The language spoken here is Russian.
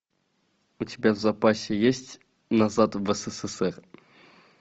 у тебя в запасе есть назад в ссср